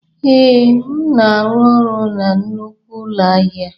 Ee, m na-arụ ọrụ na nnukwu ụlọ ahịa.